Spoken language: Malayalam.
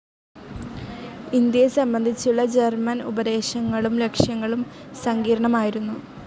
ഇന്ത്യയെ സംബന്ധിച്ചുള്ള ജർമൻ ഉപദേശങ്ങളും ലക്ഷ്യങ്ങളും സങ്കീർണ്ണമായിരുന്നു.